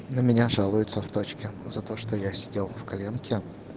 на меня жалуются в точке за то что я сидел в коленке